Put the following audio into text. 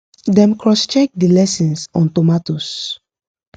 them cross check the lessons on tomatoes